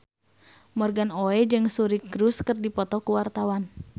Morgan Oey jeung Suri Cruise keur dipoto ku wartawan